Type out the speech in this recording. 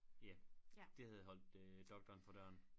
Ja det havde holdt øh doktoren for døren